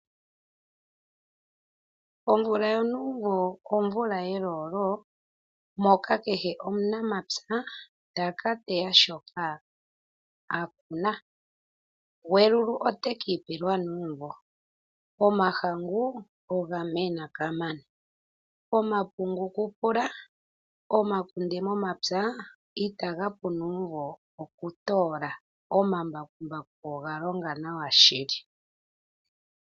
Omvula yonumvo, omvula yeelolo moka kehe omunamapya taka teya shoka akuna ,gwelulu otekipelwa nuumvo, omahangu ogamena kamana, omapungu kupula, omakunde momapya ita gapu nuumvo okutola omambakumbaku ogalonga nawa shili.